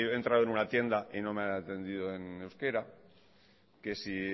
he entrado en una tienda y no me han atendido en euskera que si